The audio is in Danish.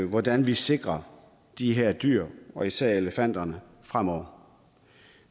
hvordan vi sikrer de her dyr og især elefanterne fremover